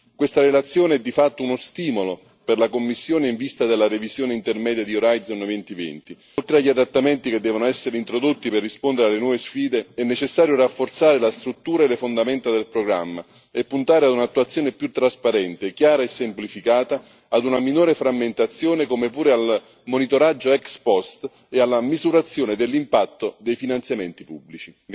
Questa relazione è di fatto uno stimolo per la Commissione in vista della revisione intermedia di Horizon 2020. Oltre agli adattamenti che devono essere introdotti per rispondere alle nuove sfide, è necessario rafforzare la struttura e le fondamenta del programma e puntare ad un'attuazione più trasparente, chiara e semplificata, ad una minore frammentazione, come pure al monitoraggio ex post e alla misurazione dell'impatto dei finanziamenti pubblici.